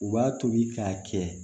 U b'a tobi k'a kɛ